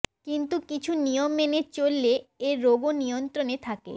কিন্তু কিছু নিয়ম মেনে চললে এ রোগও নিয়ন্ত্রণে থাকে